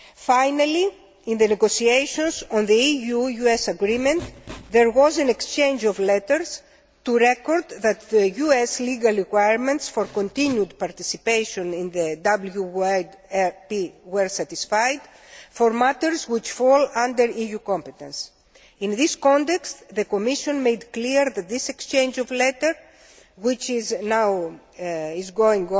Finally, in the negotiations on the EU US Agreement, there was an exchange of letters to record that the US legal requirements for continued participation in the VWP were satisfied for matters which fall under EU competence. In this context, the Commission made clear that this exchange of letters, which is part of ongoing